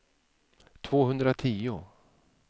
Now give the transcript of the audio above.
tvåhundratio